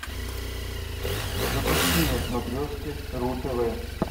запусти на смотрешке ру тв